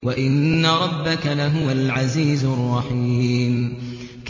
وَإِنَّ رَبَّكَ لَهُوَ الْعَزِيزُ الرَّحِيمُ